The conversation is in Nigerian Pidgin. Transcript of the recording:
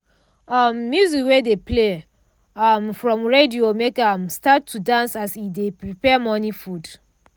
um music wey dey play um from radio make ahm start to dance as e dey prepare morning food.